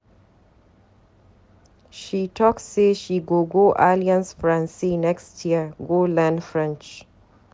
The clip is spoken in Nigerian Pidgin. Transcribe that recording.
She talk sey she go go Alliance Francaise next year go learn French.